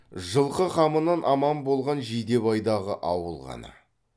жылқы қамынан аман болған жидебейдағы ауыл ғана